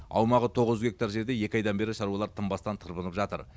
аумағы тоғыз жүз гектар жерде екі айдан бері шаруалар тынбастан тырбынып жатыр